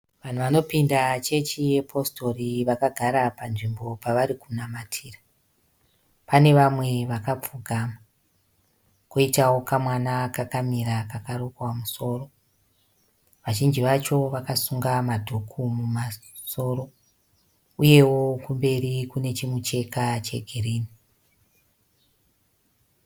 Vanhu vanopinda chechi ye positori vakagara panzvimbo pavari kunamatira. Pane vamwe vakapfugama, koitawo kamwana kakamira kakarukwa musoro. Vazhinji vacho vakasunga madhuku mumasoro uyewo kumberi kune chimucheka chegirini.